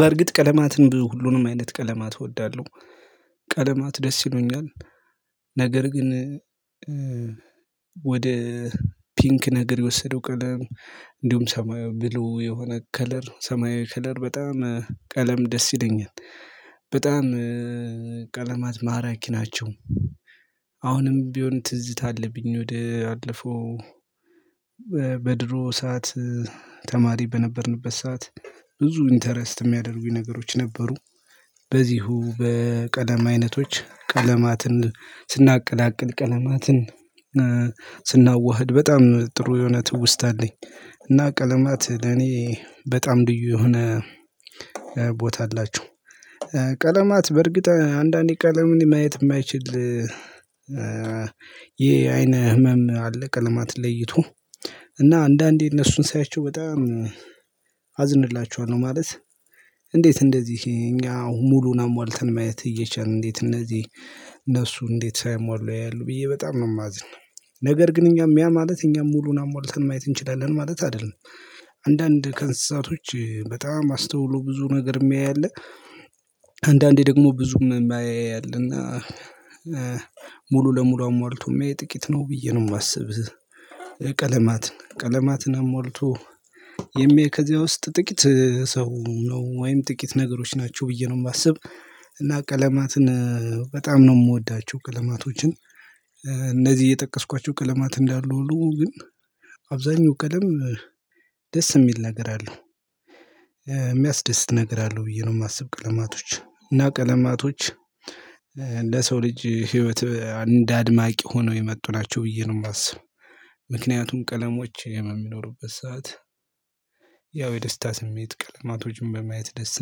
በእርግጥ ቀለማትን ብዙ ሁሉንም አይነት ቀለማት እወዳለሁ። ቀለማት ደስ ይሉኛል። ነገር ግን ወደ ፒንክ ነገር የወሰደው ቀለም እንዲሁም ሰማዩ ብሉ የሆነ ከለር ሰማያዊ ከለር በጣም ቀለም ደስ ይለኛል። በጣም ቀለማት ማራኪ ናቸው። አሁንም ቢሆን ትዝታ አለብኝ ወደ አለፈው በድሮ ሰዓት ተማሪ በነበርንበት ሰዓት ብዙ ኢንተረስት የሚያደርጉኝ ነገሮች ነበሩ። በዚሁ በቀለም አይነቶች ቀለማትን ስናቀላቅል ቀለማትን ስናዋህድ በጣም ጥሩ የሆነ ትውስታ ኣለኝ። እና ቀለማት ለኔ በጣም ልዩ የሆነ ቦታ አላቸው። ቀለማት በእርግጥ አንዳንዴ ቀለምን ማየት የማይችል ይሄ የአይን ህመም አለ ቀለማት ለይቶ እና አንዳንዴ እነሱን ሳያቸው በጣም አዝንላችኋለሁ ማለት እንዴት እንደዚህ እኛ ሙሉን አሟልተን ማየት እየቻልን እንዴት እነዚህ እነሱ እንዴት ሳያሟሉ ያያሉ ብዬ በጣም ነው የማዝነው። ነገር ግን እኛም ያ ማለት እኛም ሙሉውን አሟልተን ማየት እንችላለን ማለት አይደለም። አንዳንድ ከእንስሳቶች በጣም አስተውሎ ብዙ ነገር የሚያይ አለ። አንዳንዴ ደግሞ ብዙም የማያይ አለና። ሙሉ ለሙሉ አሟልቶም የማያይ ጥቂት ነው ብዬ ነው የማስብ። ቀለማት ቀለማትን አሟልቶ የሚያይ ከዚያ ውስጥ ጥቂት ሰው ነው ወይም ጥቂት ነገሮች ናቸው ብዬ ነው የማስብ። እና ቀለማትን በጣም ነው የምወዳቸው። ቀለማቶችን እነዚህ የጠቀስኳቸው ቀለማት እንዳሉ ሁሉ ግን አብዛኛው ቀለም ደስ የሚል ነገር አለው። የሚያስደስት ነገር አለው ብዬ ነው የማስብ። ቀለማቶች እና ቀለማቶች ለሰው ልጅ ህይወት እንደ አድማቂ ሆነው የመጡ ናቸው ብዬ ነው የማስበው። ምክንያቱም ቀለሞች የሚኖሩበት ሰዓት ያው የደስታ ስሜት ቀለማቶችን በማየት ደስ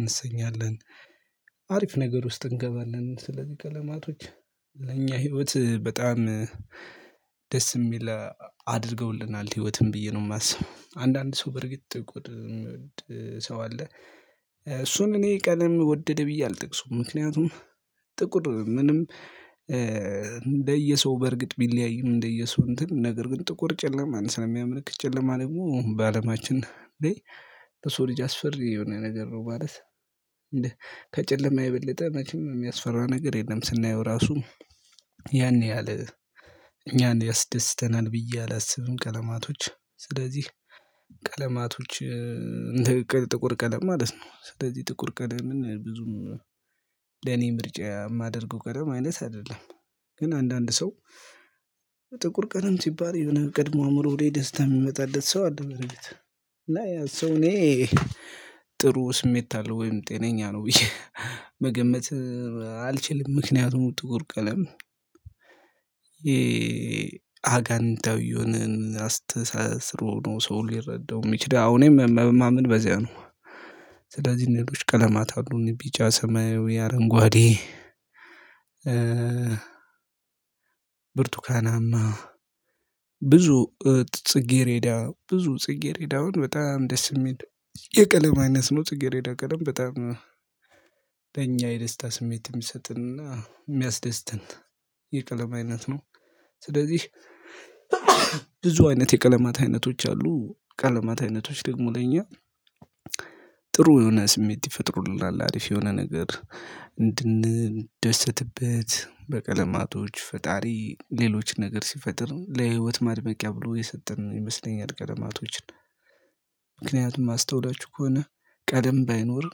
እንሰኛለን። አሪፍ ነገር ውስጥ እንገባለን። ስለዚህ ቀለማቶች ለኛ ህይወት በጣም ደስ የሚል አድርገውልናል ህይወትም ብዬ ነው የማስበው። አንዳንድ ሰው በርግጥ ሰው አለ። እሱን እኔ ቀለም ወደደ ብዬ አልጠቅሰውም። ምክንያቱም ጥቁር ምንም እንደየሰው በእርግጥ ቢለያይም እንደየሰው እንትን ነገር ግን ጥቁር ጨለማን ስለሚያምርክ ጨለማ ደግሞ በአለማችን እንዴ በሱ ልጅ አስፈሪ የሆነ ነገር ነው ማለት እንዴ ከጨለማ የበለጠ መቼም የሚያስፈራው ነገር የለም። ስናየው ራሱ ያን ያህል እኛን ያስደስተናል ብዬ አላስብም። ቀለማቶች ስለዚህ ቀለማቶች እንደ ጥቁር ቀለም ማለት ነው። ስለዚህ ጥቁር ቀለምን ብዙም ለኔ ምርጫ የማደርገው ቀደም አይደለም። ግን አንዳንድ ሰው ጥቁር ቀለም ሲባል የሆነ ቀድሞ ኣእምሮህ ላይ ደስታ የሚመጣበት ሰው አለ በርግጥ እና ያ ሰው እኔ ጥሩ ስሜት አለ ወይም ጤነኛ ነው ብዬ መገመት አልችልም። ምክንያቱም ጥቁር ቀለም የአጋንንታዊው አስተሳሰሮ ነው ሰው ሊረዳው የሚችለው አሁን ምን በዚያ ነው። ስለዚህ እኔ እምወዳቸው ቀለማት አሉኝ ቢጫ ሰማያዊ የአረንጓዴ ብርቱካናማ ብዙ ጽጌሬዳ ብዙ ጽጌሬዳውን በጣም ደስ የሚል የቀለም አይነት ነው። ጽጌረዳ ቀለም በጣም ለኛ የደስታ ስሜት የሚሰጥንና የሚያስደስትን የቀለም አይነት ነው። ስለዚህ ብዙ አይነት የቀለማት አይነቶች አሉ ቀለማት አይነቶች ደግሞ ለኛ ጥሩ የሆነ ስሜት ይፈጥሩልናል። አሪፍ የሆነ ነገር እንድንደሰትበት በቀለማቶች ፈጣሪ ሌሎች ነገር ሲፈጥር ለህይወት ማድመቂያ ብሎ የሰጠን ይመስለኛል። ቀለማቶችን ምክንያቱም አስተውላችሁ ከሆነ ቀለም ባይኖር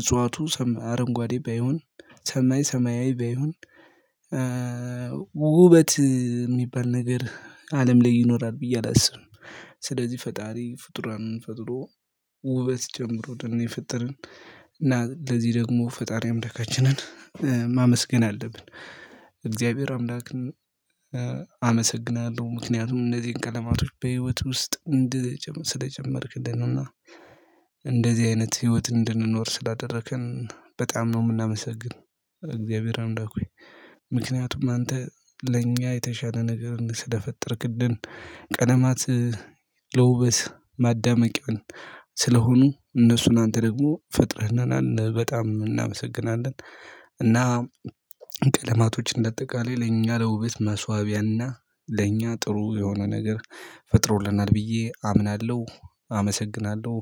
እጽዋቱ አረንጓዴ ባይሆን ሰማይ ሰማያዊ ባይሆን ውበት የሚባል ነገር አለም ላይ ይኖራል ብዬ አላስብም። ስለዚህ ፈጣሪ ፍጡራንን ፈጥሮ ውበት ጨምሮን ነው የፈጠርን። እና ለዚህ ደግሞ ፈጣሪ አምላካችንን አምላካችንን ማመስገን አለብን። እግዚአብሔር አምላክን አመሰግናለሁ። ምክንያቱም እንደዚህ ቀለማቶች በህይወት ውስጥ ስለጨመርክልን ነው። እና እንደዚህ አይነት ህይወት እንድንኖር ስላደረከን በጣም ነው የምናመሰግን። እግዚአብሔር አምለክ ሆይ ምክንያቱም አንተ ለእኛ የተሻለ ነገር ስለፈጠርክልን ቀለማት ለውበት ማዳመቂያን ስለሆኑ እነሱን አንተ ደግሞ ፈጥረህናል። እና በጣም እናመሰግናለን። እና ቀለማቶች እንደ ኣጠቃላይ ለኛ ለውበት መስዋቢያና ለኛ ጥሩ የሆነ ነገር ፈጥሮልናል ብዬ አምናለሁ። አመሰግናለሁ።